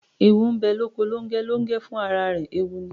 Ẹwù ńbe loko Longẹ, Longẹ fún àrà rẹ ẹwù ní